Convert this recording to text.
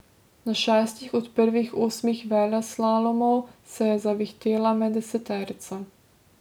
Na šestih od prvih osmih veleslalomov se je zavihtela med deseterico.